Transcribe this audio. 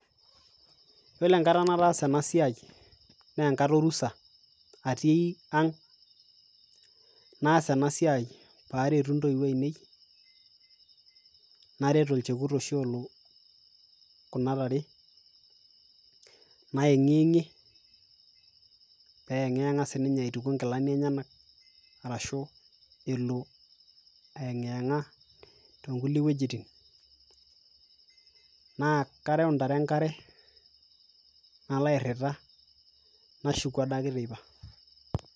yiolo enkata nataasa ena siai naa enkata orusa atii ang naas enasiai paretu intoiwuo ainei naret olchekut oshi olo kuna tare nayeng'iyeng'ie peyeng'iyeng'a sininye aituku inkilani enyenak arashu elo elo ayeng'iyeng'a tonkulie wuejitin naa karew intare enkare nalo airrita nashuku adake teipa.